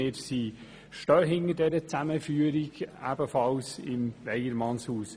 Wir stehen hinter dieser Zusammenführung im Weyermannshaus.